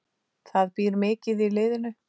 Það býr mikið í liðinu.